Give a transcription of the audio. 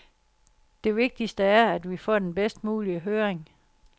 Det vigtigste er, at vi får den bedst mulige høring.